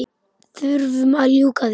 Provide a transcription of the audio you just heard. Þurfum að ljúka því.